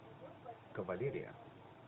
кавалерия